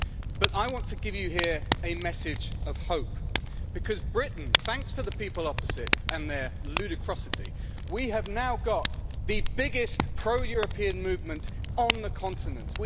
But I want to give you here a message of hope in Britain thanks to the people opposite and their ludicrosity we have now got the biggest pro-European movement on the continent.